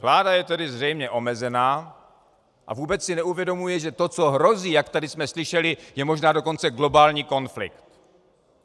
Vláda je tedy zřejmě omezená a vůbec si neuvědomuje, že to, co hrozí, jak tady jsme slyšeli, je možná dokonce globální konflikt.